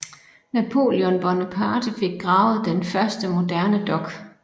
Napoleon Bonaparte fik gravet den første moderne dok